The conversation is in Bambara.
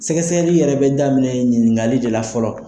Sɛgɛsɛli yɛrɛ bɛ daminɛ ɲinikali de la fɔlɔ.